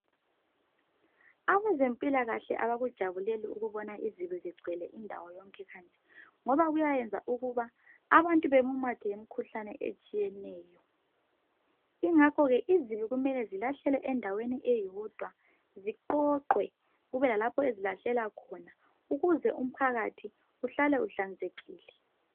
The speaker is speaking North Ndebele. Abezempilakahle abakujabuleli ukubona izibi zigcwele indawo yonke kanje ngoba kuyayenza ukuthi abantu bamumathwe yimikhuhlane etshiyeneyo ingakho ke izibi kumele zilahlelwe endaweni eyodwa ziqoqwe kube lalapho ezilahlelwa khona ukuze umphakathi uhlale uhlanzekile